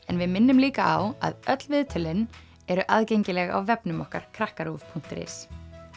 en við minnum líka á að öll viðtölin eru aðgengileg á vefnum okkar krakkaruv punktur is